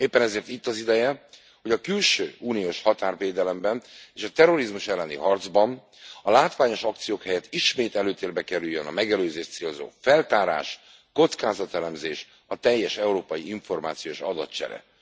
Éppen ezért itt az ideje, hogy a külső uniós határvédelemben és a terrorizmus elleni harcban a látványos akciók helyett ismét előtérbe kerüljön a megelőzést célzó feltárás, kockázatelemzés, a teljes európai információs adatcsere.